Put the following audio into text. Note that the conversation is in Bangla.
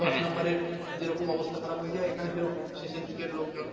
দশ নাম্বারে যেরকম অবস্থা খারাপ হয়ে যায় এখানে সেরকম শেষের দিকের লোকজন